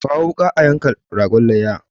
Kawo wuka a yanka ragon layya!